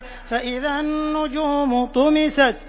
فَإِذَا النُّجُومُ طُمِسَتْ